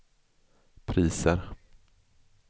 priser